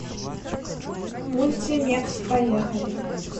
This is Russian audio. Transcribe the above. мультимекс поехали